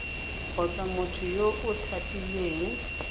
kgotsa motho yo o tlhophilweng